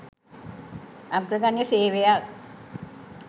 අග්‍රගන්‍ය සේවයක්